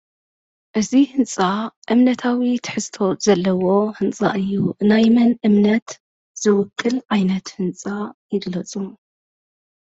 እዚ ህንፃ እምነታዊ ትሕዝቶ ዘለዎ ህንፃ እዩ። ናይ መን እምነት ዝውክል ዓይነት ህንፃ ይግለፁ?